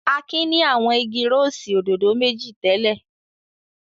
Akin ni àwọn igi rósì òdòdó méjì tẹ́lẹ̀.